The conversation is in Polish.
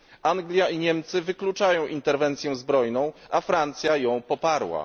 Anglia i Niemcy wykluczają interwencję zbrojną, a Francja ją poparła.